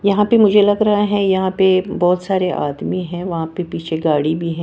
यहां पे मुझे लग रहा है यहां पे बहुत सारे आदमी हैं वहां पे पीछे गाड़ी भी है।